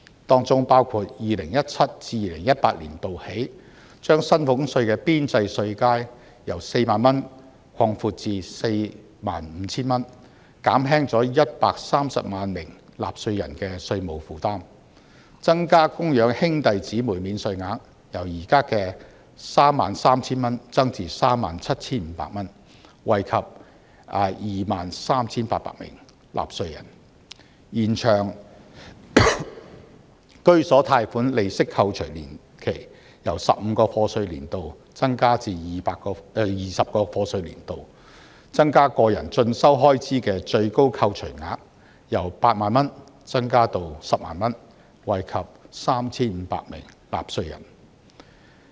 當中包括 2017-2018 年度起，把薪俸稅的邊際稅階由 40,000 元擴闊至 45,000 元，減輕了130萬名納稅人的稅務負擔；增加供養兄弟姊妹免稅額，由現時 33,000 元增至 37,500 元，惠及 23,800 名納稅人；延長居所貸款利息扣除年期，由15個課稅年度增至20個課稅年度；增加個人進修開支的最高扣除額由8萬元增至10萬元，惠及 3,500 名納稅人。